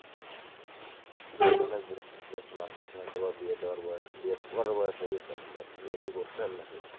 বিয়ে দেয়ার জন্য আপনাকে হয়তো বিয়ে দেওয়া বা বিয়ে করার বয়স হয়ে গেসে আপনার বিয়ে কি করছেন নাকি?